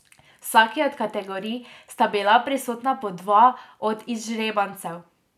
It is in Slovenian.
V vsaki od kategorij sta bila prisotna po dva od izžrebancev.